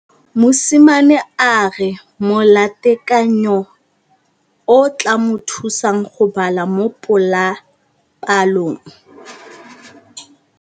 Mosimane a re molatekanyô o tla mo thusa go bala mo molapalong.